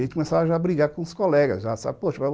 A gente já começava a brigar com os colegas já, poxa